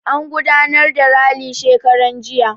An gudanar da rali shekaran jiya.